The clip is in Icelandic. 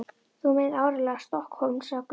Þú meinar áreiðanlega STOKKHÓLM, sagði Gunni.